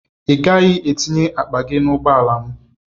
Ị gaghị etinye akpa gị n'ụgbọala m!